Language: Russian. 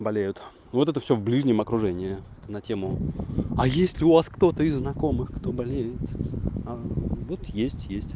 болеют вот это всё в ближнем окружении на тему а есть ли у вас кто-то из знакомых кто болеет вот есть есть